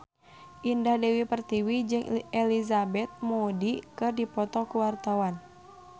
Indah Dewi Pertiwi jeung Elizabeth Moody keur dipoto ku wartawan